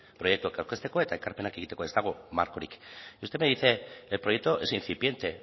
proiektuak aurkezteko eta ekarpenak egiteko ez dago markorik y usted me dice el proyecto es incipiente